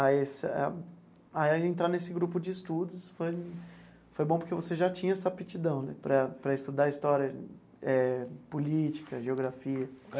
a essa a entrar nesse grupo de estudos, foi foi bom porque você já tinha essa aptidão né para para estudar história eh política, geografia.